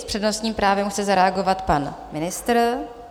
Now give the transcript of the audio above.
S přednostním právem chce zareagovat pan ministr.